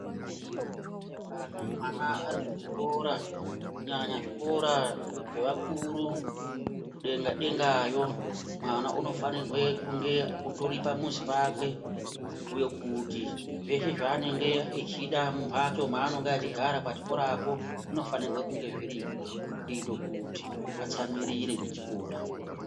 Kana mwana ari ku chikora kunyanya zvikora zvee vakuru ku denga dengayo mwana uno fanirwe kunge utori pa muzi pakwe kubhuye kuti zveshe zvaa anenge echida mu mbatso ma anonga achigara pa chikora cho zvino fanirwe kunge zviripo kuite kuti atsamwirire ne chikoro.